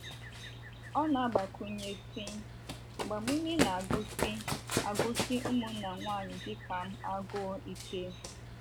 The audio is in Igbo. Ọ na - agbakwụnye sị: “ Agbamume na - agụsi agụsi ụmụnna nwanyị dị ka m agụụ ike. ”